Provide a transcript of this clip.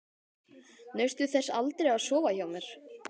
Naustu þess aldrei að sofa hjá mér?